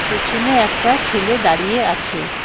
পেছনে একটা ছেলে দাঁড়িয়ে আছে।